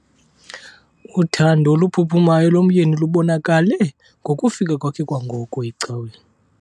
Uthando oluphuphumayo lomyeni lubonakale ngokufika kwakhe kwangoko ecaweni.